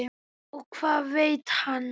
Og það veit hann.